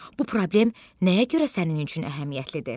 Bu problem nəyə görə sənin üçün əhəmiyyətlidir?